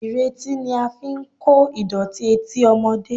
Ìretí ni a fi ń kó ìdọ̀tí etí ọmọdé